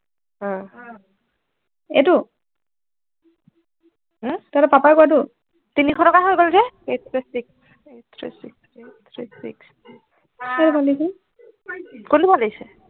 আহ এইটো তহঁতৰ পাপা কটো তিনিশ টকা হৈ গল যে eighty six নেকি কোনটো ভাল লাগিছে